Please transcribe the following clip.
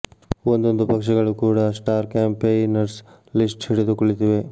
ಒಂದೊಂದು ಪಕ್ಷಗಳೂ ಕೂಡ ಸ್ಟಾರ್ ಕ್ಯಾಂಪೆಯ್ ನರ್ಸ್ ಲಿಸ್ಟ್ ಹಿಡಿದು ಕುಳಿತಿವೆ